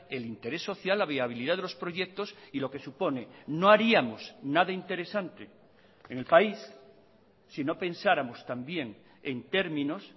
el interés social la viabilidad de los proyectos y lo que supone no haríamos nada interesante en el país si no pensáramos también en términos